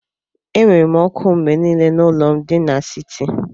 Enwere m oku mgbe niile n'ụlọ m di n'siti.